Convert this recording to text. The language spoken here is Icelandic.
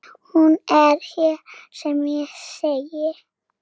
Hún er sem hér segir